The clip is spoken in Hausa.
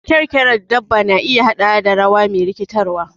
Kyarkyarar dabba na iya haɗawa da rawa me rikitarwa.